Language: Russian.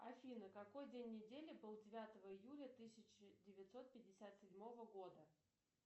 афина какой день недели был девятого июля тысяча девятьсот пятьдесят седьмого года